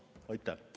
Aitäh!